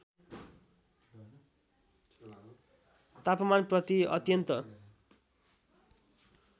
तापमान प्रति अत्यन्त